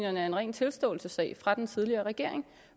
en ren tilståelsessag fra den tidligere regering